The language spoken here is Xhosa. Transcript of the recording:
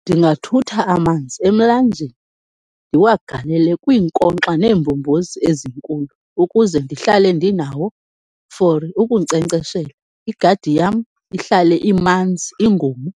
Ndingathutha amanzi emlanjeni, ndiwagalele kwiinkonkxa neembombozi ezinkulu ukuze ndihlale ndinawo for ukunkcenkceshela, igadi yam ihlale imanzi, ingomi